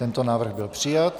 Tento návrh byl přijat.